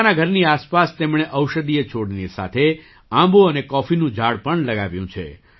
પોતાના ઘરની આસપાસ તેમણે ઔષધીય છોડની સાથે આંબો અને કૉફીનું ઝાડ પણ લગાવ્યું છે